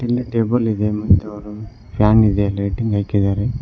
Table ಇದೆ ಮತ್ತೆ ಅವರು ಫ್ಯಾನ್ ಲೈಟಿಂಗ್ ಹಾಕಿದಾರೆ.